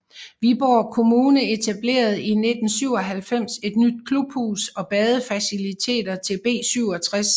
Viborg Kommune etablerede i 1997 et nyt klubhus og badefaciliteter til B67